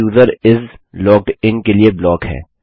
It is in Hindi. यह यूजर इस लॉग्ड इन के लिए ब्लॉक है